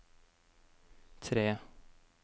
tre